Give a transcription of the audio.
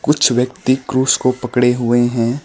कुछ व्यक्ति क्रूश को पकड़े हुए हैं।